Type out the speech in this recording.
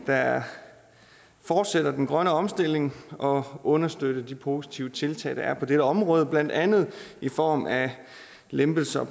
der fortsætter den grønne omstilling og understøtter de positive tiltag der er på dette område blandt andet i form af lempelse af